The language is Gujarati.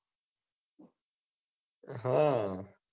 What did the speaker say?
હા